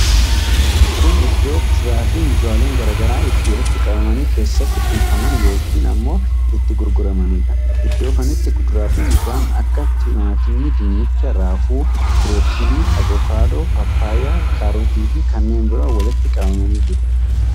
Kun iddoo kuduraa fi muduraaleen garaa garaa itti walitti qabamanii keessatti kuufaman yookiin ammoo itti gurguramanidha. Iddoo kanatti kuduraa fi muduraan akka timaatimii, dinnicha, raafuu, birookiilii, avokaadoo, paappayyaa, kaarotii fi kanneen biroo walitti qabamanii jiru.